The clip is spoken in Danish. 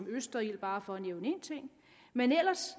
østerild bare for at nævne en ting men ellers